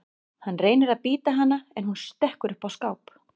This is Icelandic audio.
Hann reynir að bíta hana en hún stekkur upp á skáp.